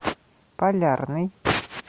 полярный